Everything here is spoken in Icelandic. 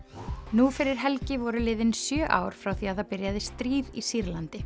nú fyrir helgi voru liðin sjö ár frá því að það byrjaði stríð í Sýrlandi